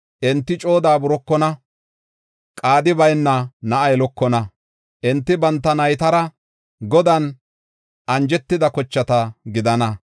Enti coo daaburokona qaadi bayna na7a yelokona. Enti banta naytara Godan anjetida kochata gidana.